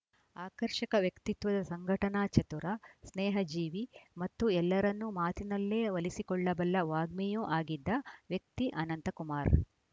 ಆಕರ್ಷಕ ವ್ಯಕ್ತಿತ್ವದ ಸಂಘಟನಾ ಚತುರ ಸ್ನೇಹಜೀವಿ ಮತ್ತು ಎಲ್ಲರನ್ನೂ ಮಾತಿನಲ್ಲೇ ಒಲಿಸಿಕೊಳ್ಳಬಲ್ಲ ವಾಗ್ಮಿಯೂ ಆಗಿದ್ದ ವ್ಯಕ್ತಿ ಅನಂತಕುಮಾರ್‌